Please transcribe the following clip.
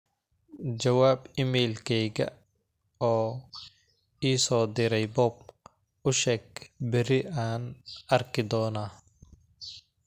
jawaab iimaylkayga oo ii soo direy bob u sheeg biri aan arki doona